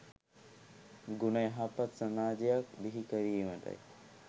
ගුණ යහපත් සමාජයක් බිහි කිරීමටයි